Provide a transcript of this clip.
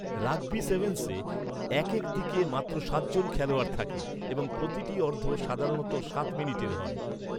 Rugby সেভেন্‌সে, একেক দিকে মাত্র সাতজন খেলোয়াড় থাকে, এবং প্রতিটি অর্ধ সাধারণত সাত মিনিটের হয়।